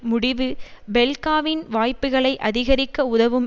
முடிவு பெல்காவின் வாய்ப்புக்களை அதிகரிக்க உதவும்